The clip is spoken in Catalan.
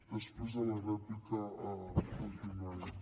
després a la rèplica continuarem